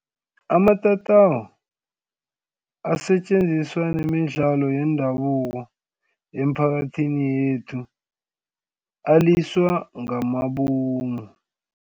Amatatawu asetjenziswa nemidlalo yendabuko emiphakathini yethu aliswa ngamabomu.